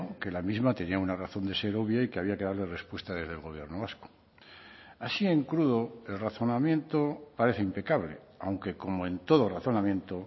que la misma tenía una razón de ser obvia y que había que darle respuesta desde el gobierno vasco así en crudo el razonamiento parece impecable aunque como en todo razonamiento